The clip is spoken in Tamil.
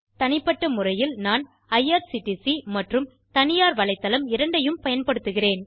தனிப்பட்ட முறையில் நான் ஐஆர்சிடிசி மற்றும் தனியார் வலைத்தளம் இரண்டையும் பயன்படுத்துகிறேன்